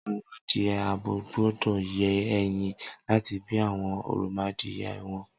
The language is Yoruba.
Awọn adìẹ ábó gbọdọ yé ẹyin làtí bi awọn òròmọadiẹ wọn